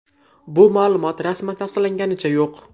Bu ma’lumot rasman tasdiqlanganicha yo‘q.